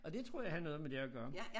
Og det tror jeg har noget med det at gøre